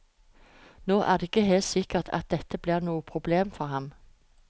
Nå er det ikke sikkert at dette blir noe problem for ham.